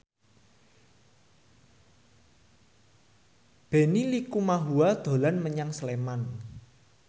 Benny Likumahua dolan menyang Sleman